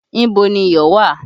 Ibo ni iyọ̀ wà?